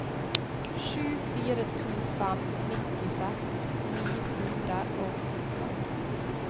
sju fire to fem nittiseks ni hundre og sytten